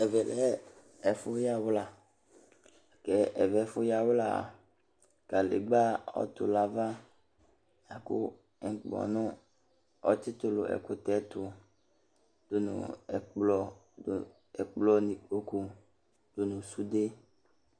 Ɛvɛ lɛ ɛfu yawla ku ɛvɛ ɛfu yawlaa kadegba ɔtu nu ava la ku ŋkpɔnu ɔtsitu nu ɛkutɛ tu du nu ɛkplɔ nu kpokpu du nu sude